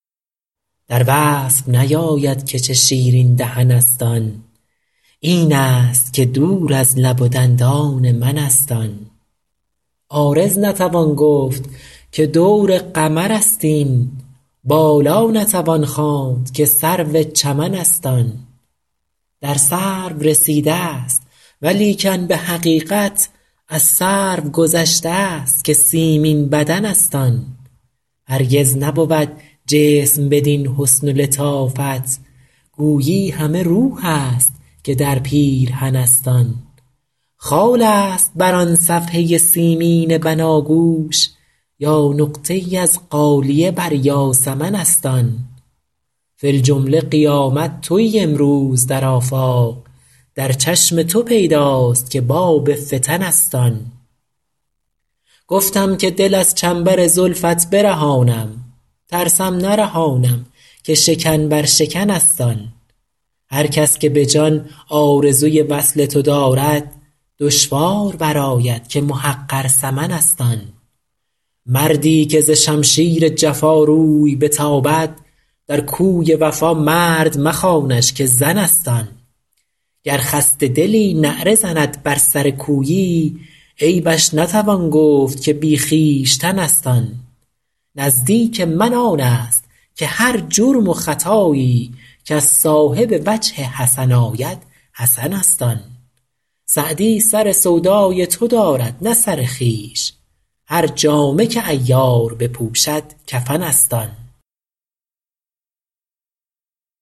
در وصف نیاید که چه شیرین دهن است آن این است که دور از لب و دندان من است آن عارض نتوان گفت که دور قمر است این بالا نتوان خواند که سرو چمن است آن در سرو رسیده ست ولیکن به حقیقت از سرو گذشته ست که سیمین بدن است آن هرگز نبود جسم بدین حسن و لطافت گویی همه روح است که در پیرهن است آن خال است بر آن صفحه سیمین بناگوش یا نقطه ای از غالیه بر یاسمن است آن فی الجمله قیامت تویی امروز در آفاق در چشم تو پیداست که باب فتن است آن گفتم که دل از چنبر زلفت برهانم ترسم نرهانم که شکن بر شکن است آن هر کس که به جان آرزوی وصل تو دارد دشوار برآید که محقر ثمن است آن مردی که ز شمشیر جفا روی بتابد در کوی وفا مرد مخوانش که زن است آن گر خسته دلی نعره زند بر سر کویی عیبش نتوان گفت که بی خویشتن است آن نزدیک من آن است که هر جرم و خطایی کز صاحب وجه حسن آید حسن است آن سعدی سر سودای تو دارد نه سر خویش هر جامه که عیار بپوشد کفن است آن